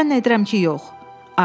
Zənn edirəm ki, yox.